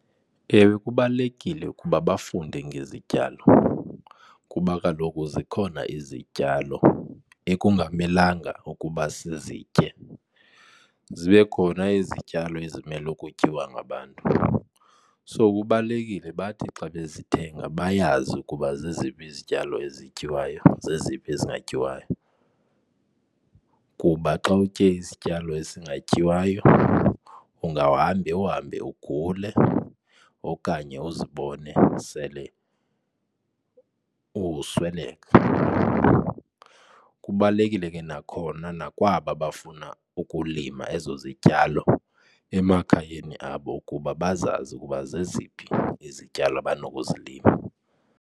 Ewe, kubalulekile ukuba bafunde ngezityalo kuba kaloku zikhona izityalo ekungamelanga ukuba sizitye, zibe khona izityalo ezimele ukutyiwa ngabantu. So, kubalulekile bathi xa bezithenga bayazi ukuba zeziphi izityalo ezityiwayo, zeziphi ezingatyiwayo. Kuba xa utye izityalo ezingatyiwayo ungawuhambe, uhambe ugule okanye uzibone sele usweleka. Kubalulekile ke nakhona nakwaba bafuna ukulima ezo zityalo emakhayeni abo ukuba bazazi ukuba zeziphi izityalo abanokuzilima.